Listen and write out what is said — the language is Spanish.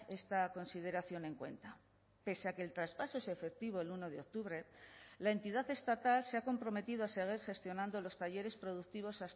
esta consideración en cuenta pese a que el traspaso es efectivo el uno de octubre la entidad estatal se ha comprometido a seguir gestionando los talleres productivos